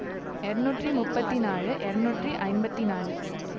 இருநூற்றி முப்பத்தி நாழு இருநூற்றி ஐம்பத்தி நாழு